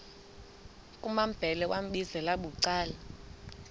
kumambhele wambizela bucala